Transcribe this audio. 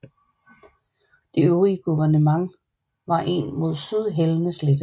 Det øvrige guvernement var en mod syd hældende slette